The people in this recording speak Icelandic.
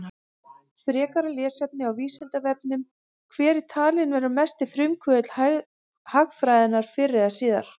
Frekara lesefni á Vísindavefnum: Hver er talinn vera mesti frumkvöðull hagfræðinnar fyrr og síðar?